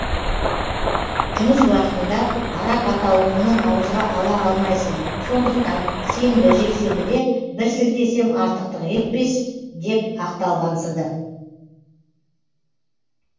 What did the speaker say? жұмыс уақытында арақ атаулыны ауызға ала алмайсың сондықтан сенбі жексенбіде бір сілтесем артықтық етпес деп ақталғансыды